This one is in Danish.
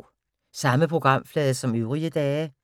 Samme programflade som øvrige dage